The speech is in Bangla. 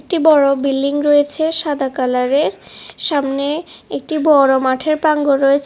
একটি বড় বিল্ডিং রয়েছে সাদা কালারের সামনে একটি বড় মাঠের প্রাঙ্গণ রয়েছে।